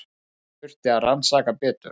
Þau þurfi að rannsaka betur.